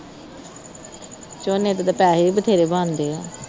ਝੋਨੇ ਦੇ ਤਾਂ ਪੈਸੇ ਹੀ ਬਥੇਰੇ ਬਣਦੇ ਹੈ,